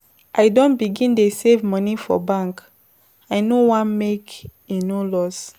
I don begin dey save moni for bank, I no wan make e no loss.